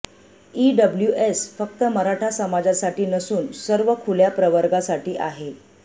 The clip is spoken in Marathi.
ईडब्ल्यूएस फक्त मराठा समाजासाठी नसून सर्व खुल्या प्रवर्गासाठी आहे